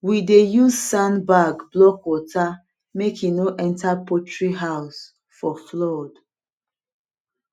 we dey use sandbag block water make e no enter poultry house for flood